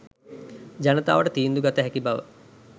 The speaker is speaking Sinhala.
ජනතාවට තීන්දු ගත හැකි බව